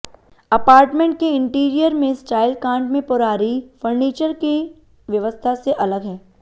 apartment के interior में style contemporary furniture की व्यवस्था से अलग है